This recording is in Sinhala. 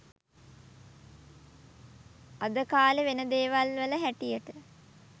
අද කාලේ වෙන දේවල් වල හැටියට